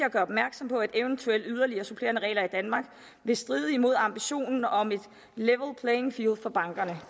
at gøre opmærksom på at eventuelle yderligere supplerende regler i danmark vil stride imod ambitionen om et level playing field for bankerne